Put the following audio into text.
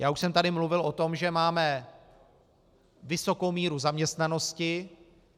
Já už jsem tady mluvil o tom, že máme vysokou míru zaměstnanosti.